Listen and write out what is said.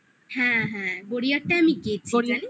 হ্যাঁ, হ্যাঁ গড়িয়ারটা আমি গেঁথেছি হ্যা আচ্ছা